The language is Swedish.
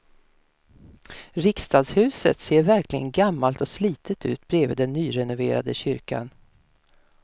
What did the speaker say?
Riksdagshuset ser verkligen gammalt och slitet ut bredvid den nyrenoverade kyrkan.